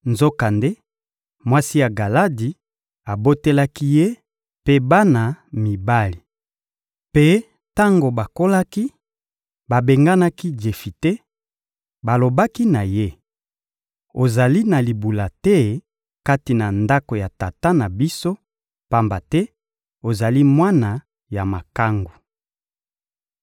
Nzokande mwasi ya Galadi abotelaki ye mpe bana mibali. Mpe tango bakolaki, babenganaki Jefite; balobaki na ye: «Ozali na libula te kati na ndako ya tata na biso, pamba te ozali mwana ya makangu.»